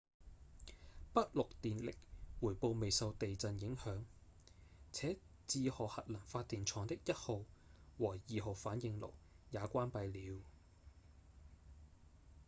北陸電力回報未受地震影響且志賀核能發電廠的一號和二號反應爐也關閉了